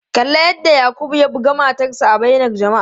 Kalli yadda Yakubu ya bugi matarsa ​​a bainar jama'a.